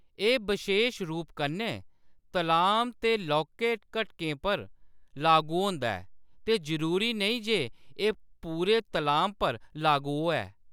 एह्‌‌ बशेश रूप कन्नै तलाम दे लौह्‌‌के घटकें पर लागू होंदा ऐ ते जरूरी नेईं जे एह्‌‌ पूरे तलाम पर लागू होऐ।